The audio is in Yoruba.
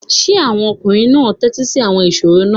Are the men listening to the riddles?